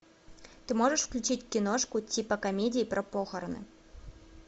ты можешь включить киношку типа комедии про похороны